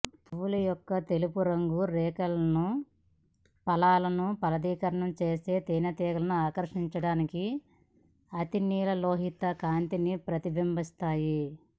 పువ్వు యొక్క తెలుపు రేకులు ఫలాలను ఫలదీకరణం చేసే తేనెటీలను ఆకర్షించడానికి అతినీలలోహిత కాంతిని ప్రతిబింబిస్తాయి